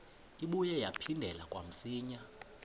ibuye yaphindela kamsinya